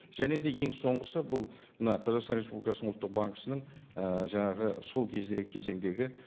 және де ең соңғысы бұл мына қазақстан республикасының ұлттық банкісінің і жаңағы сол кездегі кезеңдегі